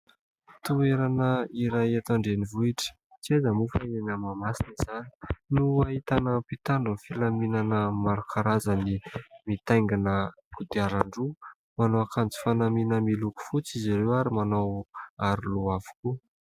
Toerana iray eto andrenivohitra, tsy aiza moa fa eny Mahamasina izany no ahitana mpitandron'ny filaminana maro karazany mitaingana kodiaran-droa. Manao akanjo fanamiana miloko fotsy izy ireo ary manao aroloha avokoa.